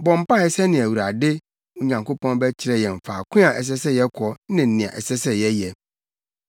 Bɔ mpae sɛnea Awurade, wo Nyankopɔn bɛkyerɛ yɛn faako a ɛsɛ sɛ yɛkɔ ne nea ɛsɛ sɛ yɛyɛ.”